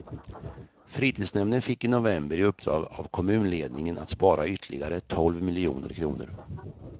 Fritidsnämnden fick i november i uppdrag av kommunledningen att spara ytterligare tolv miljoner kronor.